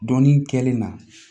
Dɔnnin kɛlen na